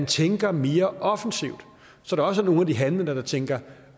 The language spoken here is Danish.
tænker mere offensivt så der også er nogle af de handlende der tænker